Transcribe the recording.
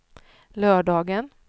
lördagen